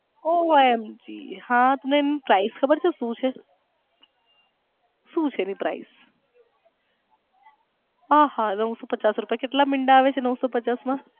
OMG ખબર છે સુ છે સુ છે એની price આહા નવસો પચાસ રૂપિયા કેટલા મીંડા આવે છે નવસો પચાસ માં.